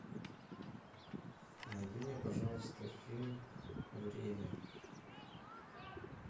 найди мне пожалуйста фильм время